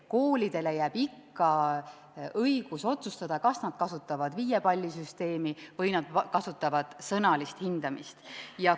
Koolidele jääb ikka õigus otsustada, kas nad kasutavad viiepallisüsteemi või sõnalist hindamist.